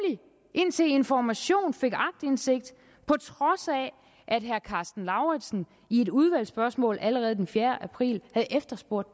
indtil information fik aktindsigt på trods af at herre karsten lauritzen i et udvalgsspørgsmål allerede den fjerde april havde efterspurgt